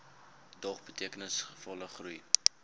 dog betekenisvolle groei